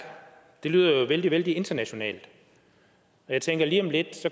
det lyder jo vældig vældig internationalt jeg tænker at lige om lidt